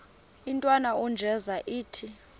intwana unjeza ithi